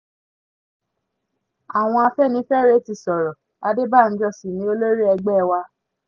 àwọn afẹ́nifẹ́re ti sọ̀rọ̀ adébànjọ sí ni olórí ẹgbẹ́ wa